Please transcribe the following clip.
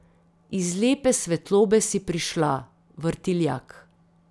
Iz lepe svetlobe si prišla, Vrtiljak.